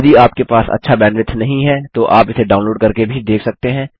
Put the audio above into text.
यदि आपके पास अच्छा बैंडविड्थ नहीं है तो आप इसे डाउनलोड करके भी देख सकते हैं